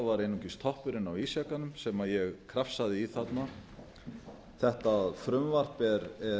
var einungis toppurinn á ísjakanum sem ég krafsaði í þarna þetta frumvarp er